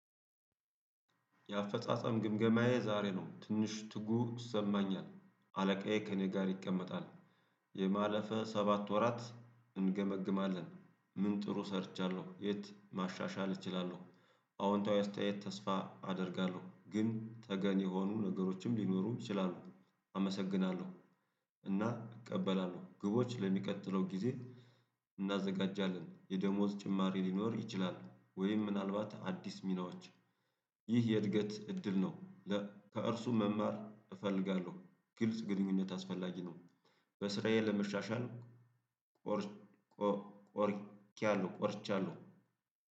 የአፈጻጸም ግምገማዬ ዛሬ ነው ትንሽ ትጉህ ይሰማኛል አለቃዬ ከእኔ ጋር ይቀመጣል። የባለፈውን ሰባት ወራት እንገመግማለን ምን ጥሩ ሰርቻለሁ የት ማሻሻል እችላለሁ። አዎንታዊ አስተያየት ተስፋ አደርጋለሁ ግን ተገቢ የሆኑ ነገሮችም ሊኖሩ ይችላሉ። አመሰግናለሁ። እና እቀበላለሁ ግቦች ለሚቀጥለው ጊዜ። እናዘጋጃለን የደሞዝ ጭማሪ ሊኖር ይችላል ወይም ምናልባት አዲስ ሚናዎች። ይህ የእድገት እድል ነው። ከእርሱ መማር እፈልጋለሁ። ግልጽ ግንኙነት አስፈላጊ ነው። በስራዬ ለመሻሻል ቆርጫለው።